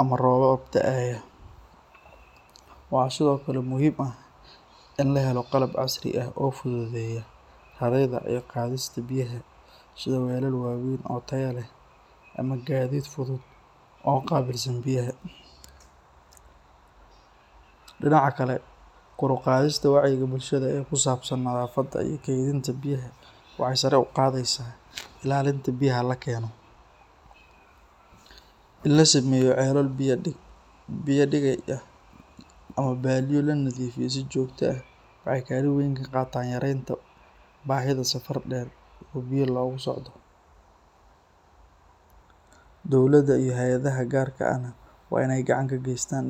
ama roob daayo, habeeba si waweyn oo tayo leh, dinaca kale kor uqdista waxeey sare uqadeysa, in la sameeyo ceelo biya dig ah, bahinta safar deer, hayadaha gaarka gacan kageestan,